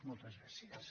moltes gràcies